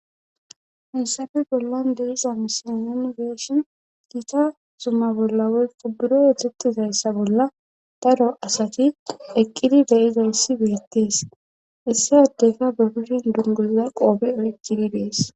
heysafe bollan de7iza misilen nuuni be7ishin giita zumma bolla woykko buro oosettizayssa bolla daro asati eqqidi de7izayssi beettees issi adeyka be kushen dunguza qoobe oykkidi dees.